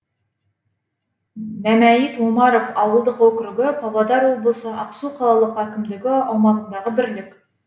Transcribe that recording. мәмәйіт омаров ауылдық округі павлодар облысы ақсу қалалық әкімдігі аумағындағы бірлік